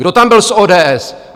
Kdo tam byl z ODS?